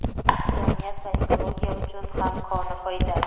jamiyat va ekologiya uchun ham koni foyda.